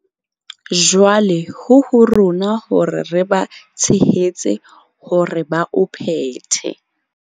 Jwale ho ho rona hore re ba tshehetse hore ba o phethe.